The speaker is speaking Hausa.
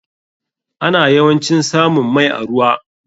Ana yawancin samun mai a ruwa.